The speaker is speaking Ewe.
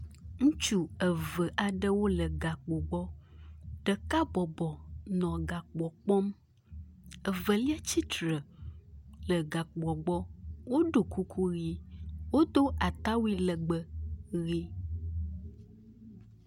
Ŋutsu eve aɖewo le gakpo gbɔ. Ɖeka bɔbɔ nɔ gakpoa kpɔm. Evelia tsitre le gakpoa gbɔ. Woɖo kuku ʋi. Wodo atawui legbe ʋi